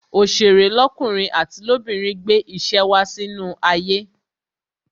Òsèré lọkunrin àti lobinrin gbé ìṣe wá sínú ayé